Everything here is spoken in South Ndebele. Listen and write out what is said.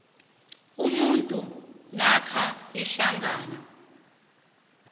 umuntu namkha ihlangano